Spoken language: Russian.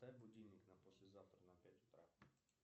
поставь будильник на послезавтра на пять утра